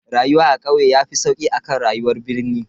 Rayuwa a kauye yafi sauki akan rayuwar birnin.